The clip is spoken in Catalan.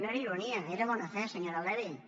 no era ironia era bona fe senyora levy